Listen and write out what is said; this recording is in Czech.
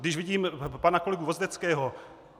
Když vidím pana kolegu Vozdeckého...